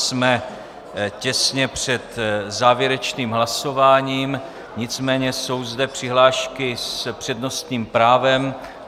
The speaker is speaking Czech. Jsme těsně před závěrečným hlasováním, nicméně jsou zde přihlášky s přednostním právem.